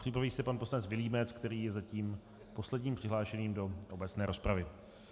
Připraví se pan poslanec Vilímec, který je zatím posledním přihlášeným do obecné rozpravy.